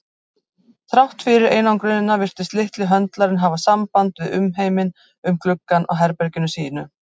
Þrátt fyrir einangrunina virtist litli höndlarinn hafa samband við umheiminn um gluggann á herbergi sínu.